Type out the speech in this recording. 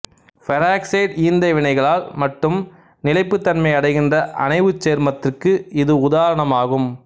peroxide ஈந்தணைவிகளால் மட்டும் நிலைப்புத்தன்மையை அடைகின்ற அணைவுச் சேர்மத்திற்கு இது உதாரணமாகும்